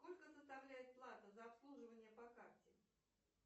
сколько составляет плата за обслуживание по карте